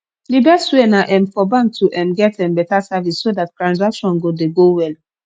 di best way na um for bank to um get um better service so dat transaction go dey go well